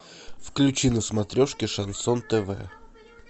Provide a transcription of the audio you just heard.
включи на смотрешке шансон тв